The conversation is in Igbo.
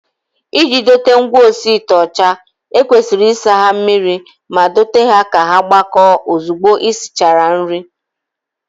Iji dote ngwaosiite ọcha, e kwesịrị isa ha mmiri ma dote ha ka ha gbakọọ ozugbo e sichara nri